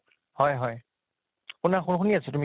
হয় হয়, শুনা, শুন শুনি আছো তুমি